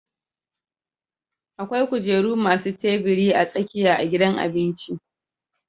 Akwai kujeru masu tabiri a tsakiya a gidan abinci